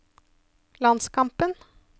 landskampen